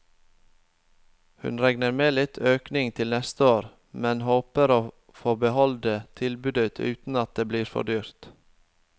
Hun regner med litt økning til neste år, men håper å få beholde tilbudet uten at det blir for dyrt.